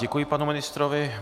Děkuji panu ministrovi.